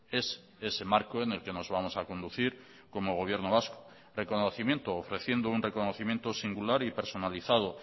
es ese marco en el que nos vamos a conducir como gobierno vasco reconocimiento ofreciendo un reconocimiento singular y personalizado